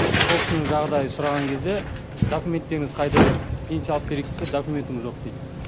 сол кісінің жағдайын сұраған кезде документтеріңіз қайда деп пенсия алып берейік десе документім жоқ дейді